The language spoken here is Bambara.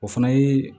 O fana ye